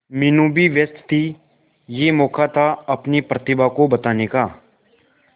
मीनू भी व्यस्त थी यह मौका था अपनी प्रतिभा को बताने का